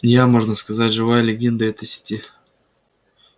я можно сказать живая легенда этой сети